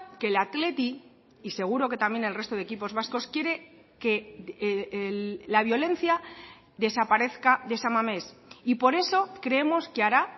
que el athletic y seguro que también el resto de equipos vascos quiere que la violencia desaparezca de san mamés y por eso creemos que hará